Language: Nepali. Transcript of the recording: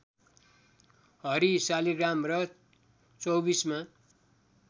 हरि शालिग्राम र चौबीसमा